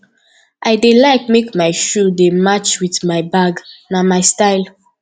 i dey like make my shoe dey match wit my bag na my style